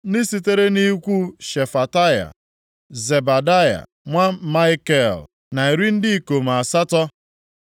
ndị sitere nʼikwu Shefataya, Zebadaya nwa Maikel, na iri ndị ikom asatọ (80).